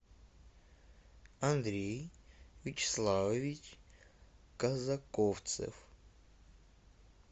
андрей вячеславович казаковцев